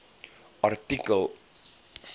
artikel